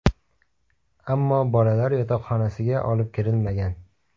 Ammo bolalar yotoqxonasiga olib kirilmagan.